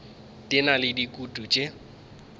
di na le dikutu tše